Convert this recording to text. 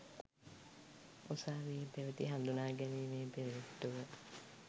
උසාවියේ පැවැති හඳුනා ගැනීමේ පෙරෙට්ටුව